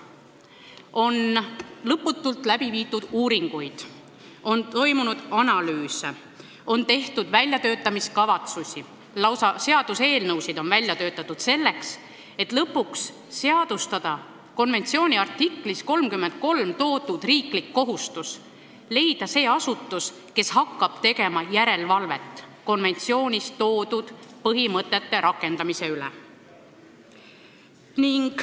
On lõputult läbi viidud uuringuid, on toimunud analüüse, on tehtud väljatöötamiskavatsusi, lausa seaduseelnõusid on välja töötatud, et lõpuks seadustada konventsiooni artiklis 33 toodud riigi kohustus leida see asutus, kes hakkab tegema järelevalvet konventsioonis toodud põhimõtete rakendamise üle.